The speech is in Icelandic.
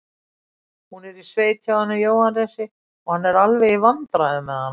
Hún er í sveit hjá honum Jóhannesi og hann er alveg í vandræðum með hana.